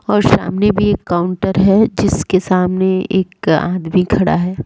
और सामने भी एक काउंटर है जिसके सामने एक आदमी खड़ा है।